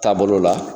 Taabolo la